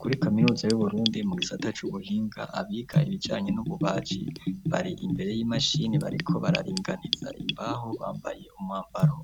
Kuri kaminuza y'uburundi mugisata c'ubuhinga, abiga ibijanye n'ububaji bari imbere y'imashini, bariko bararinganiza imbaho bambaye umwambaro